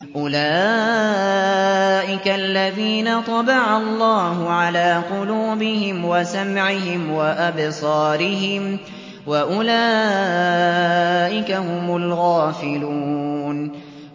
أُولَٰئِكَ الَّذِينَ طَبَعَ اللَّهُ عَلَىٰ قُلُوبِهِمْ وَسَمْعِهِمْ وَأَبْصَارِهِمْ ۖ وَأُولَٰئِكَ هُمُ الْغَافِلُونَ